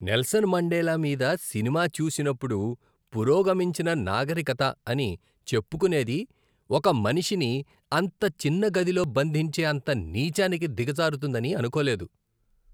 Nelson Mandela మీద సినిమా చూసినప్పుడు పురోగమించిన నాగరికత అని చెప్పుకునేది ఒక మనిషిని అంత చిన్న గదిలో బంధించే అంత నీచానికి దిగజారుతుందని అనుకోలేదు.